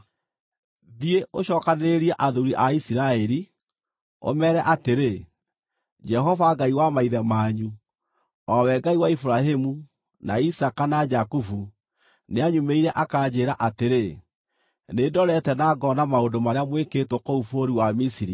“Thiĩ, ũcookanĩrĩrie athuuri a Isiraeli, ũmeere atĩrĩ, ‘Jehova, Ngai wa maithe manyu o we Ngai wa Iburahĩmu, na Isaaka, na Jakubu nĩanyumĩrĩire akanjĩĩra atĩrĩ: Nĩndorete na ngoona maũndũ marĩa mwĩkĩtwo kũu bũrũri wa Misiri,